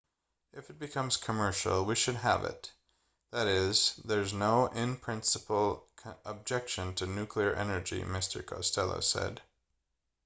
if it becomes commercial we should have it that is there's no in-principle objection to nuclear energy mr costello said